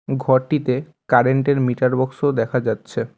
ঘরটিতে কারেন্ট -এর meter box -ও দেখা যাচ্ছে।